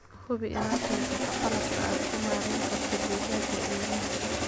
Hubi inaad haysato qalabka aad ku maarayn karto digaagga ilmaha.